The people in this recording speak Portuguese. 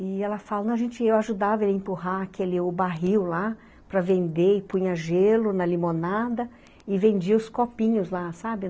E ela fala, não, a gente, eu ajudava ele a empurrar aquele o barril lá para vender e punha gelo na limonada e vendia os copinhos lá, sabe?